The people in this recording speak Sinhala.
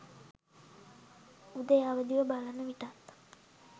උදේ අවදිව බලන විටත්